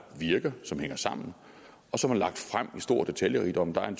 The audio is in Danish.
virker som hænger sammen og som er lagt frem i stor detaljerigdom der er en